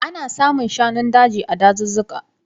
Ana samun shanun daji ne a dazuka.